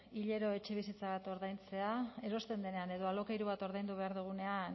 hilero etxebizitza bat ordaintzea erosten denean edo alokairu bat ordaindu behar dugunean